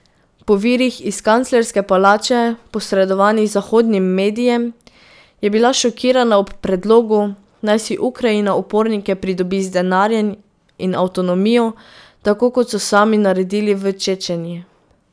Po virih iz kanclerske palače, posredovanih zahodnim medijem, je bila šokirana ob predlogu, naj si Ukrajina upornike pridobi z denarjem in avtonomijo, tako kot so sami naredili v Čečeniji.